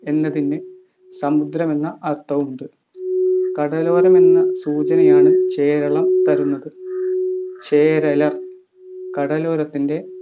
എന്നതിന് സമുദ്രമെന്ന അർത്ഥവുമുണ്ട് കടലോരമെന്ന സൂചനയാണ് ചേരളം തരുന്നത് ചേരലർ കടലോരത്തിൻ്റെ